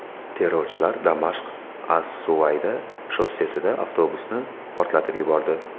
Terrorchilar Damashq–as-Suvayda shossesida avtobusni portlatib yubordi.